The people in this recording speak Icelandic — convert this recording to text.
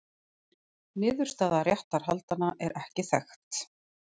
Niðurstaða réttarhaldanna er ekki þekkt.